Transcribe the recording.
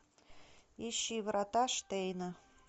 ищи врата штейна